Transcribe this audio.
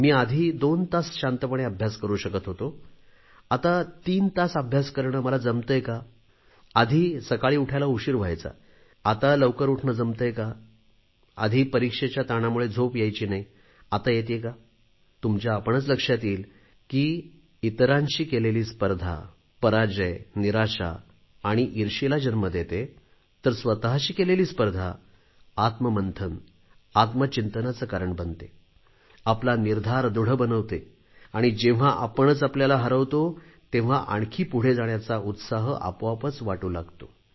मी आधी दोन तास शांतपणे अभ्यास करू शकत होतो आता तीन तास अभ्यास करणे मला जमतेय का आधी सकाळी उठायला उशीर व्हायचा आता लवकर उठणे जमतेय का आधी परीक्षेच्या ताणामुळे झोप यायची नाही आता येते का तुमच्या आपणच लक्षात येईल की इतरांशी केलेली स्पर्धा पराजय निराशा आणि ईर्ष्येला जन्म देते तर स्वतशी केलेली स्पर्धा आत्ममंथन आत्मचिंतनाचे कारण बनते आपला निर्धार दृढ बनवते आणि जेव्हा आपणच आपल्याला हरवतो तेव्हा आणखी पुढे जाण्याचा उत्साह आपोआपच वाटू लागतो